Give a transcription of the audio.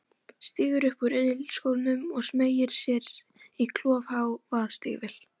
Stígur upp úr ilskónum og smeygir sér í klofhá vaðstígvél.